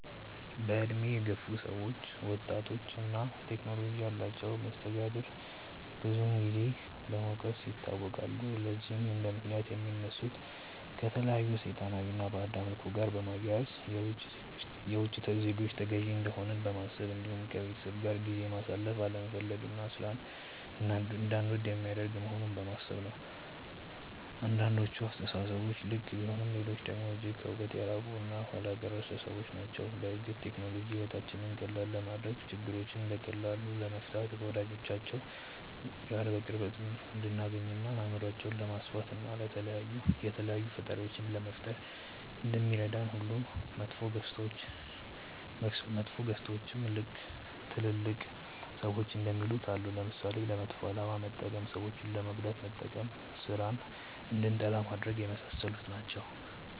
በእድሜ የገፉ ሰዎች ወጣቶች እና ቴክኖሎጂ ያላቸውን መስተጋብር ብዙን ጊዜ በመውቀስ ይታወቃሉ። ለዚህም እንደምክንያት የሚያነሱት ከተለያዩ ሰይጣናዊ እና ባዕድ አምልኮ ጋር በማያያዝ፣ የውቺ ዜጎች ተገዢ እንደሆንን በማሰብ እንዲሁም ከቤተሰብ ጋር ጊዜ ማሳለፍ አለመፈለግ እና ሥራን እንዳንወድ የሚያደርግ መሆኑን በማሰብ ነው። አንዳንዶቹ አስተሳሰቦች ልክ ቢሆኑም ሌሎቹ ደግሞ እጅግ ከእውነት የራቁ እና ኋላ ቀር አስተሳሰቦች ናቸው። በእርግጥ ቴክኖሎጂ ሕይወታችንን ቀላል ለማድረግ፣ ችግሮችን በቀላሉ ለመፍታት፣ ከወዳጆቻችን ጋር በቅርበት እንድንገናኝ፣ አእምሯችንን ለማስፋት፣ እና የተለያዩ ፈጠራዎችን ለመፍጠር እንደሚረዳን ሁሉ መጥፎ ገፅታዎችም ልክ ትልልቅ ሰዎች እንደሚሉት አለው። ለምሳሌ፦ ለመጥፎ አላማ መጠቀም፣ ሰዎችን ለመጉዳት መጠቀም፣ ስራን እንድንጠላ ማድረግ፣ የመሳሰሉት ናቸው።